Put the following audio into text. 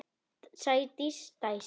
Sædís dæsir.